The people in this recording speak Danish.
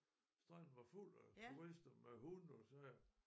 Stranden var fuld af turister med hunde og sager